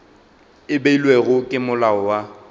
e beilwego ke molao wa